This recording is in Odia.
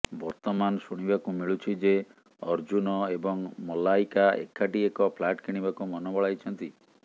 ବର୍ତ୍ତମାନ ଶୁଣିବାକୁ ମିଳୁଛି ଯେ ଅର୍ଜ୍ଜୁନ ଏବଂ ମଲାୟିକା ଏକାଠି ଏକ ଫ୍ଲାଟ୍ କିଣିବାକୁ ମନ ବଳାଇଛନ୍ତି